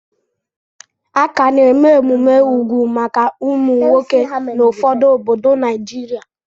A ka na-eme emume úgwù maka ụmụ nwoke na ụfọdụ obodo Naijiria.